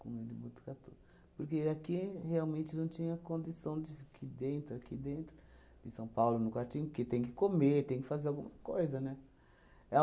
com ele em Botucatu, porque aqui realmente não tinha condição de f qui dentro, aqui dentro, em São Paulo, no quartinho, porque tem que comer, tem que fazer alguma coisa, né? É